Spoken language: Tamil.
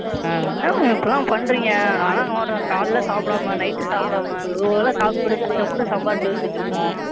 Ma'am என்ன Ma'am இப்படிலாம் பண்றீங்க? நான்லாம் காலையிலயும் சாப்பிடாம Night உம் சாப்பிடாம Regular ஆ Shop போட்டு கஷ்டப்பட்டு சம்பாரிச்சு வெச்சுருப்போம்.